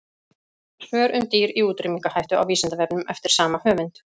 Svör um dýr í útrýmingarhættu á Vísindavefnum eftir sama höfund.